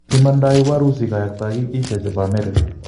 Imondoi warusi kayaktoik isya chepo amerika.